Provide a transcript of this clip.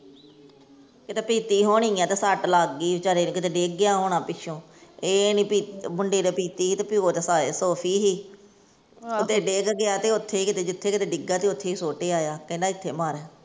ਕਿਤੇ ਪੀਤੀ ਹੋਣੀ ਆ ਤੇ ਸੱਟ ਲੱਗ ਗਈ ਵਿਚਾਰੇ ਨੂੰ ਕਿਤੇ ਡਿੱਗ ਗਿਆ ਹੋਣਾ ਪਿੱਛੋਂ, ਇਹ ਨੀ ਭੀ ਮੁੰਡੇ ਨੇ ਪੀਤੀ ਹੀ ਤੇ ਪਿਓ ਤੇ ਸੋਫੀ ਹੀ, ਉਥੇ ਡਿੱਗ ਗਿਆ ਤੇ ਉਥੇ ਕਿਤੇ ਜਿੱਥੇ ਕਿਤੇ ਡਿੱਗਾ ਤੇ ਉਥੇ ਈ ਸੁੱਟ ਆਇਆ ਕਹਿੰਦਾ ਇੱਥੇ ਮਰ।